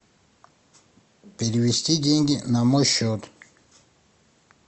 перевести деньги на мой счет